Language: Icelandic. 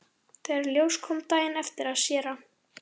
Þegar í ljós kom daginn eftir að séra